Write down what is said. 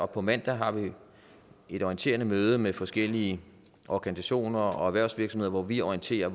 på mandag har vi et orienterende møde med forskellige organisationer og erhvervsvirksomheder hvor vi orienterer